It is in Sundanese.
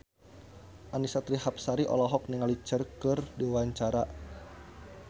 Annisa Trihapsari olohok ningali Cher keur diwawancara